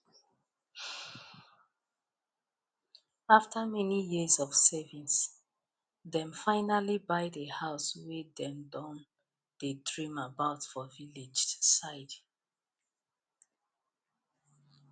after many years of saving dem finally buy the house wey dem don dey dream about for village side